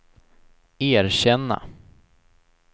erkänna